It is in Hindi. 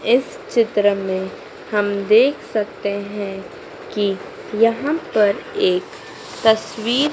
इस चित्र में हम देख सकते हैं कि यहां पर एक तस्वीर--